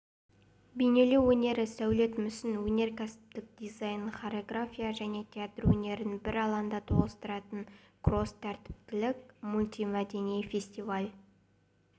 бейнелеу өнері сәулет мүсін өнеркәсіптік дизайн хореография және театр өнерлерін бір алаңда тоғыстыратын кросс-тәртіптік мультимәдени фестиваль